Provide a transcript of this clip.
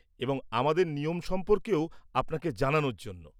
-এবং আমাদের নিয়ম সম্পর্কেও আপনাকে জানানোর জন্য।